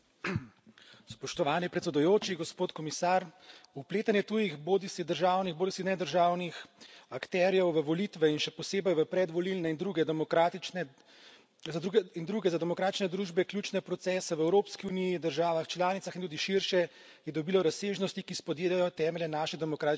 Spoštovani predsedujoči, gospod komisar, vpletanje tujih, bodisi državnih bodisi nedržavnih akterjev, v volitve in še posebej v predvolilne in druge za demokratične družbe ključne procese v Evropski uniji, državah članicah in tudi širše, je dobilo razsežnosti, ki spodjedajo temelje naše demokratične ureditve.